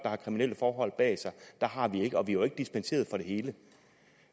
har kriminelle forhold bag sig har vi ikke og vi har jo ikke dispenseret for det hele